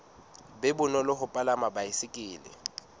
be bonolo ho palama baesekele